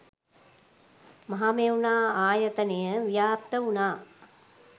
මහමෙවුනා ආයතනය ව්‍යාප්ත වුණා.